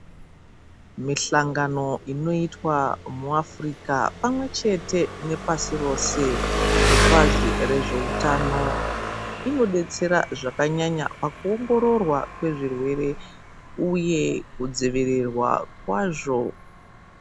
Mihlangano inoitwa muAfrica pamwe chete nepasi rose kubazi rezveutano inodetsera zvakanyanya pakuongororwa kwezvirwere uye kudzivirirwa kwazvo.